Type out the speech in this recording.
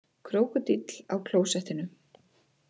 Krókódíll á klósettinu